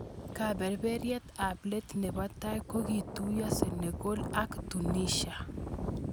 Kepeperiat ab let nebo tai kokituyo Senegal ak Tunisia.